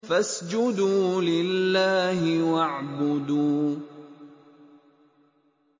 فَاسْجُدُوا لِلَّهِ وَاعْبُدُوا ۩